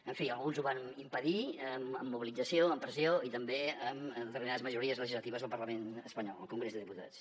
en fi alguns ho van impedir amb mobilització amb pressió i també amb determinades majories legislatives al parlament espanyol al congrés de diputats